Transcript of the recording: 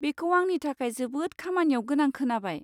बेखौ आंनि थाखाय जोबोद खामानियाव गोनां खोनाबाय।